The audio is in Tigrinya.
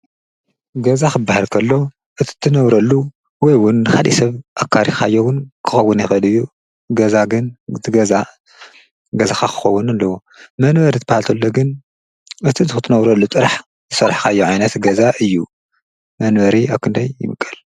ገዛ ኽበሃርከሎ እቲ እትነውረሉ ወይውን ኻይምቀል ኣካሪኻዮዉን ክኸውነ ይኸድ ገዛግን ትገዛ ገዛ ኻኽኾውን ኣለዉ መንበር ትባሃልተሎግን እቲ ዝኽትነውረሉ ጥራሕ ሠልሕካዮዓይነት ገዛ እዩ መንበሪ ኣክንደይ ይምቀል።